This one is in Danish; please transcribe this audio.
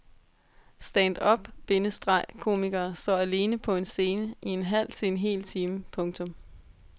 Stand up- bindestreg komikere står alene på en scene i en halv til en hel time. punktum